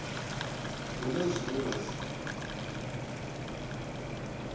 hu na zwine vha si